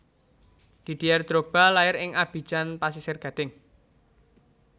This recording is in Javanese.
Didier Drogba lair ing Abidjan Pasisir Gading